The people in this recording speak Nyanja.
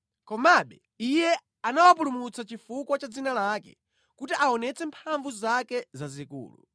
Komabe Iye anawapulumutsa chifukwa cha dzina lake, kuti aonetse mphamvu zake zazikulu.